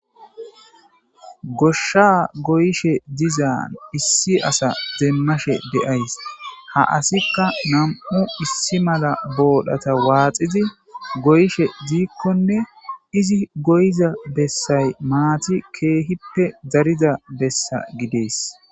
Gosha goyishe diza issi ase demashe de'aysi ha asiyka 2 issi mala borata waxidi goyishe dikkone izzi goyida besay mattiy kehippe darida besa gides